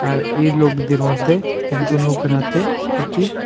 আর এ লোকদের মদ্যে একজন লোকের হাতে একটি--